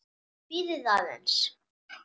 Bíðið aðeins.